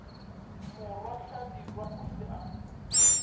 morwa hlabirwa o ile a